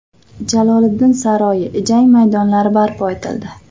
Jaloliddin saroyi, jang maydonlari barpo etildi.